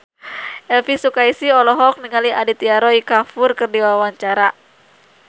Elvy Sukaesih olohok ningali Aditya Roy Kapoor keur diwawancara